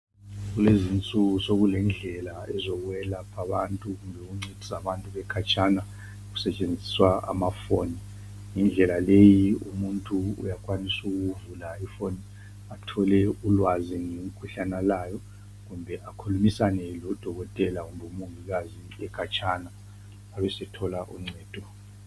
Kuleziinsuku sekulendlela ezokwelapha abantu, Ukuncedisa abantu bekhatshana, kusetshenziswa amafoni. Indlela leyi umuntu uyakwanisa ukuvula ifoni. Athole upwazi ngomkhuhlane alowo. Kumbe akhulumisane lodokotela, loba umongikazi, ekhatshana. Abesethola uncedo.